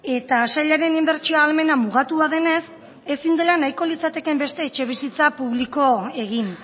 eta sailaren inbertsio ahalmena mugatua denez ezin dela nahiko litzatekeen beste etxebizitza publiko egin